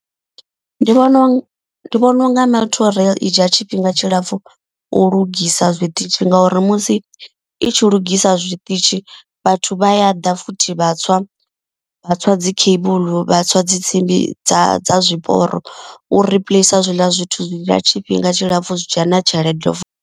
Ndi vhona uri ndi vhona unga multi rail i dzhia tshifhinga tshilapfu u lugisa zwiṱitshi. Ngauri musi i tshi lugisa zwiṱitshi vhathu vha ya ha ḓa futhi vha tswa vha tswa dzi cable vha tswa dzi tsimbi dza dza zwiporo. U replace hezwiḽa zwithu zwi ḽa tshifhinga tshilapfhu zwi dzhia na tshelede futhi.